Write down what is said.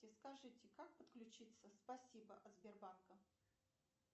скажите как подключиться спасибо от сбербанка